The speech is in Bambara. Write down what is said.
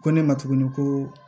Ko ne ma tuguni ko